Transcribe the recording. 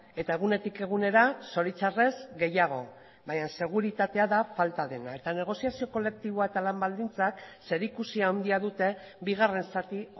eta egunetik egunera zoritxarrez gehiago baina seguritatea da falta dena eta negoziazio kolektiboa eta lan baldintzak zerikusia handia dute bigarren zati